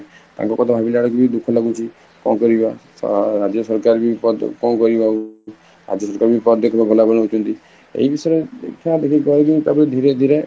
ତାଙ୍କ କଥା ଭାବିଲା ବେଳକୁବି ଦୁଃଖ ଲାଗୁଛି କଣ କରିବା, ରାଜ୍ୟ ସରକାର ବି କଣ କରିବେ ଆଉ ଆଜି ସକାଳୁ ପଦେ ବି, ଏଇ ଜିନିଷ ଦେଖିବା ତାକୁ ଧୀରେ ଧୀରେ